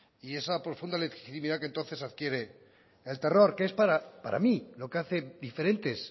y esa profunda legitimidad que tú haces adquiere el terror que es para mí lo que hace diferentes